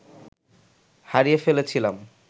হারিয়ে ফেলেছিলাম